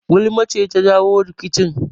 Gulma ce ta jawo rikicin